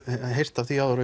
heyrt af því áður